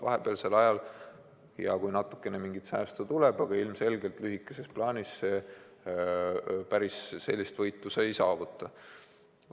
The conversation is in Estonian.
Vahepealsel ajal on hea, kui natukene säästab, aga lühikeses plaanis ilmselgelt sellega ei võida.